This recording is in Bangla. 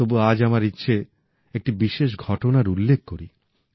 তবু আজ আমার ইচ্ছে একটি বিশেষ ঘটনার উল্লেখ করি